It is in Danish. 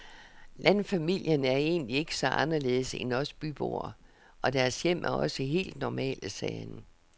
Landfamilien er egentlig ikke så anderledes end os byboer, og deres hjem er også helt normale, sagde han.